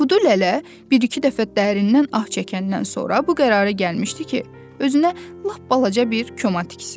Kudu Lələ bir-iki dəfə dərindən ah çəkəndən sonra bu qərara gəlmişdi ki, özünə lap balaca bir koma tiksin.